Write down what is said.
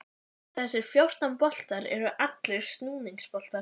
Samt er hann heimsmannslegur í fasi.